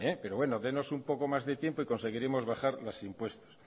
pero bueno dénos un poco más de tiempo y conseguiremos bajar los impuestos